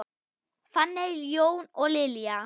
Fanney, Jón og Lilja.